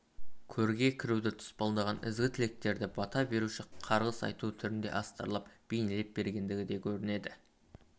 көрге кіруді тұспалдаған ізгі тілектерді бата беруші қарғыс айту түрінде астарлап бернелеп бергендігі де көрінеді